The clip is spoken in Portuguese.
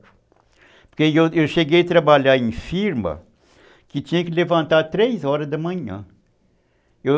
Porque eu cheguei a trabalhar em firma, que tinha que levantar três horas da manhã.